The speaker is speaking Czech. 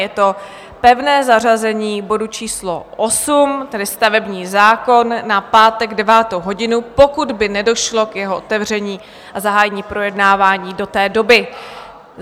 Je to pevné zařazení bodu číslo 8, tedy stavební zákon, na pátek, 9. hodinu, pokud by nedošlo k jeho otevření a zahájení projednávání do té doby.